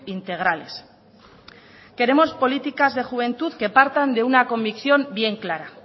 integrales queremos políticas de juventud que partan de una convicción bien clara